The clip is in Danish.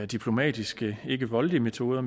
diplomatiske ikkevoldelige metoder